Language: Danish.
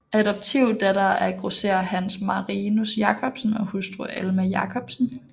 Adoptivdatter af grosserer Hans Marinus Jacobsen og hustru Alma Jacobsen